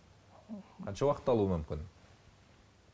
қанша уақыт алуы мүмкін